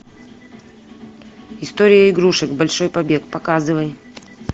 история игрушек большой побег показывай